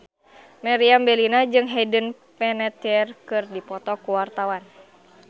Meriam Bellina jeung Hayden Panettiere keur dipoto ku wartawan